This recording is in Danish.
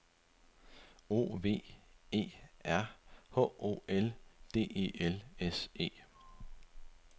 O V E R H O L D E L S E